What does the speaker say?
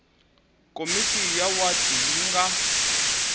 komiti ya wadi yi nga